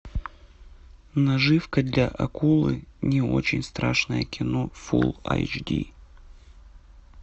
наживка для акулы не очень страшное кино фулл айч ди